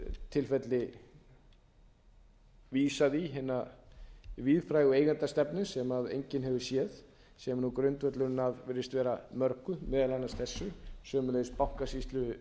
tilfelli vísað í hina víðfrægu eigendastefnu sem enginn hefur séð sem er grundvöllurinn að virðist vera mörgu meðal annars þessu sömuleiðis bankasýslu